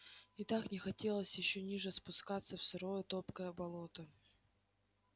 и так не хотелось ещё ниже спускаться в сырое топкое болото